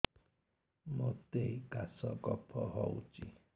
ମୋତେ କାଶ କଫ ହଉଚି